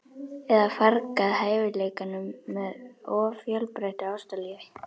Eða fargað hæfileikanum með of fjölbreyttu ástalífi?